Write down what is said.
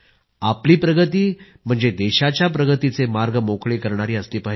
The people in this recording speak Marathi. आपली प्रगती म्हणजे देशाच्या प्रगतीचे मार्ग मोकळे करणारी असली पाहिजे